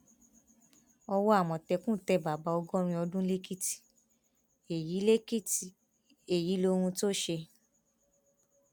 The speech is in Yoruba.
owó àmọtẹkùn tẹ bàbá ọgọrin ọdún lèkìtì èyí lèkìtì èyí lóhun tó ṣe